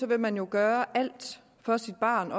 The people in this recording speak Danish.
vil man gøre alt for sit barn